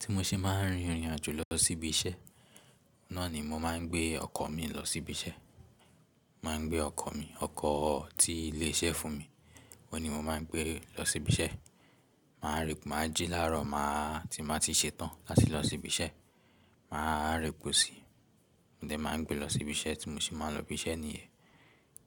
Tí mo ṣe máa ń rìn irìn àjò lọ sí ibi iṣẹ́, náà ni mo máa ń gbé ọkọ̀ mi lọ sí ibi iṣẹ́, mo máa ń gbé ọkọ̀ mi, ọkọ̀ tí ilé iṣẹ́ fún mi, oun ni mo máa ń gbé lọ sí ibi iṣẹ́. Màá rì máa jí láárọ̀ máà tí n ba ti ṣe tán ati lọ sí ibi iṣẹ́. Mà á ra epo síi, mo dẹ̀ máa ń gbé lọ sí ibi iṣẹ́, tí mo se máa ń lọ ibi iṣẹ́ nìyẹn.